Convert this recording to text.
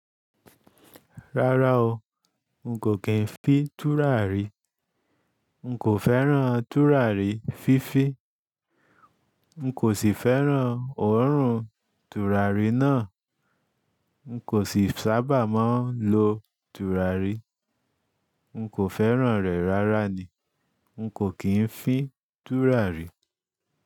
Rárá o, n kò kí n fi tùràrí, n kò fẹ́ràn tùràrí fífí, n kò sì fẹ́ràn òórùn tùràrí náà, n kò sì sábà mọ́ lọ tùràrí, n kò fẹ́ràn rẹ̀ rárá ni, n kò kí n fín tùràrí.